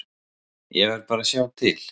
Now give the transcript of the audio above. Ég verð bara að sjá til.